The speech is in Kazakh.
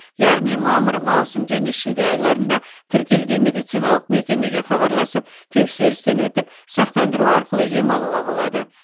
яғни мамыр маусым және шілде айларында тіркелген медициналық мекемеге хабарласып тексерістен өтіп сақтандыру арқылы ем алуға болады